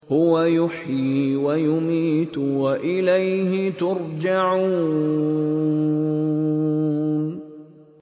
هُوَ يُحْيِي وَيُمِيتُ وَإِلَيْهِ تُرْجَعُونَ